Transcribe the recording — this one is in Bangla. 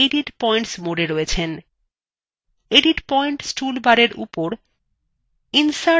edit পয়েন্টস toolbarএর উপর insert পয়েন্টস icon click করুন